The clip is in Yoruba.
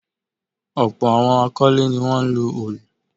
Ọ̀pọ̀ àwọn akọ́lé ní wọ́n ń lo òlù.